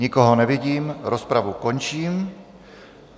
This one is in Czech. Nikoho nevidím, rozpravu končím.